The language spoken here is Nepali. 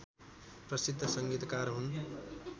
प्रसिद्ध संगीतकार हुन्